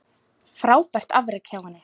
Frábært afrek hjá henni.